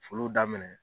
Foliw daminɛ